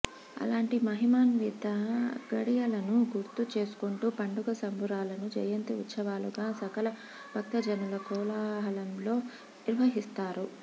అలాంటి మహిమాన్విత ఘడియలను గుర్తు చేసుకుంటూ పండుగ సంబురాలను జయంతి ఉత్సవాలుగా సకల భక్తజనుల కోలాహలంలో నిర్వహిస్తారు